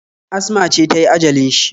Asma ce ta yi ajalin shi